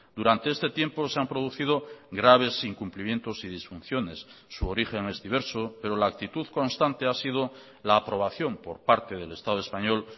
durante este tiempo se han producido graves incumplimientos y disfunciones su origen es diverso pero la actitud constante ha sido la aprobación por parte del estado español